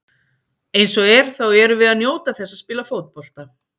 Eins og er þá erum við að njóta þess að spila fótbolta.